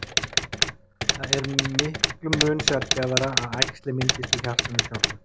það er miklum mun sjaldgæfara að æxli myndist í hjartanu sjálfu